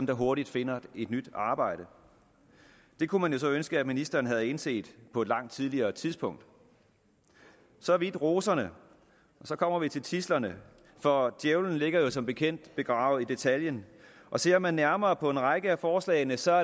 der hurtigt finder et nyt arbejde det kunne man så ønske at ministeren havde indset på et langt tidligere tidspunkt så vidt roserne så kommer vi til tidslerne for djævlen ligger jo som bekendt begravet i detaljen og ser man nærmere på en række af forslagene ser